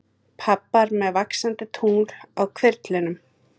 Pabbar með vaxandi tungl á hvirflinum.